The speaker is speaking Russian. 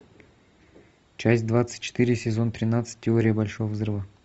часть двадцать четыре сезон тринадцать теория большого взрыва